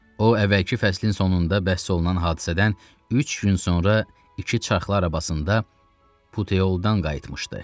O əvvəlki fəslin sonunda bəhs olunan hadisədən üç gün sonra iki çaxlar arabasında Puteyoldan qayıtmışdı.